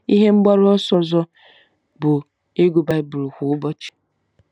Ihe mgbaru ọsọ ọzọ bụ ịgụ Baịbụl kwa ụbọchị.